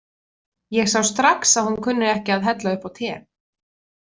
Ég sá strax að hún kunni ekki að hella upp á te.